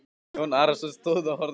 Jón Arason stóð og horfði fram dalinn.